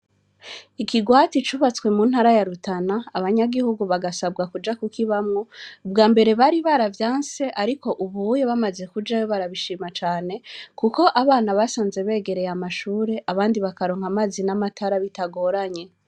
Ikigwati cubatswe mu ntara yarutana abanyagihugu bagasabwa kuja kuko ibamwo ubwa mbere bari baravya nse, ariko ubuye bamaze kuja wo barabishima cane, kuko abana basanze begereye amashure abandi bakaronka amazi n'amatara bitagoranye.